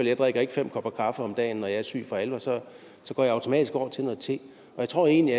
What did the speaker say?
jeg drikker ikke fem kopper kaffe om dagen når jeg er syg for alvor så går jeg automatisk over til te jeg tror egentlig